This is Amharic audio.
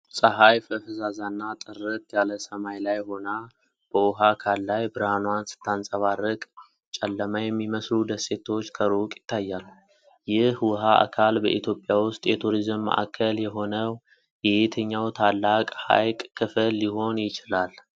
ፀሐይ በፈዛዛና ጥርት ያለ ሰማይ ላይ ሆና በውሃ አካል ላይ ብርሃኗን ስታንፀባርቅ ጨለማ የሚመስሉ ደሴቶች ከሩቅ ይታያሉ። ይህ ውሃ አካል በኢትዮጵያ ውስጥ የቱሪዝም ማዕከል የሆነው የየትኛው ታላቅ ሐይቅ ክፍል ሊሆን ይችላል?